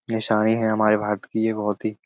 नशायें हैं हमारे भारत की बहुत ही--